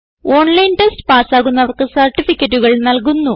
online test പാസ്സാകുന്നവർക്ക് സർട്ടിഫികറ്റുകൾ നല്കുന്നു